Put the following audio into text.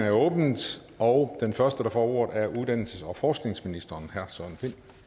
åbnet og den første der får ordet er uddannelses og forskningsministeren